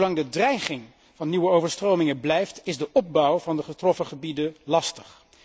Zolang de dreiging van nieuwe overstromingen blijft, is de opbouw van de getroffen gebieden lastig.